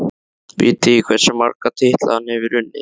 Vitið þið hversu marga titla hann hefur unnið?